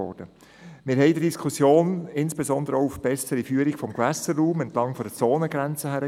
In der Diskussion wiesen wir insbesondere auch auf eine bessere Führung des Gewässerraums entlang der Zonengrenze hin.